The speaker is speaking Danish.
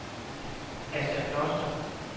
Asta Kloster